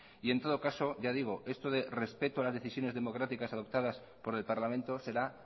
y en todo caso ya digo esto de respeto las decisiones democráticas adoptadas por el parlamento será